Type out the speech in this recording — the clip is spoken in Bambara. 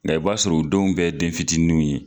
Nka i b'a sɔrɔ u denw bɛɛ ye den fitiininiw ye!